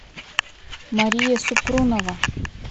мария супрунова